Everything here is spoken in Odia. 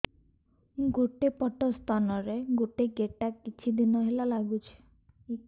ଗୋଟେ ପଟ ସ୍ତନ ରେ ଗୋଟେ ଗେଟା କିଛି ଦିନ ହେଲା ଲାଗୁଛି